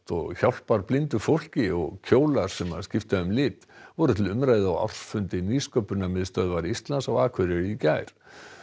og hjálpar blindu fólki og kjólar sem skipta um lit voru til umræðu á ársfundi Nýsköpunarmiðstöðvar Íslands á Akureyri í gær